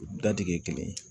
U dadigikɛ kelen